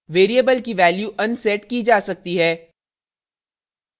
variable की value unset की जा सकती है